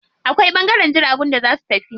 Akwai ɓangaren jiragun da za su tafi.